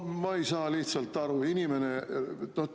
No ma ei saa lihtsalt aru.